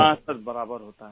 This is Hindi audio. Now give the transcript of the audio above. हाँ सर बराबर होता है